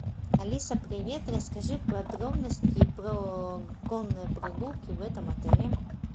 алиса привет расскажи подробности про конные прогулки в этом отеле